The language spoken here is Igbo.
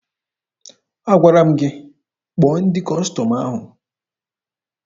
Agwara m gị kpọọ ndị Kọstọm ahụ!